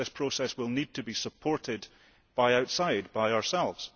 This process will need to be supported by outside, by ourselves.